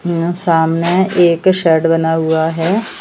यहां सामने एक शेड बना हुआ है।